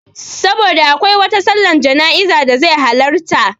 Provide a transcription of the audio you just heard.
Saboda akwai wata sallar jana'izar da zai halarta